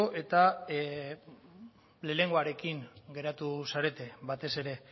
eta lehenengoarekin geratu zarete batez ere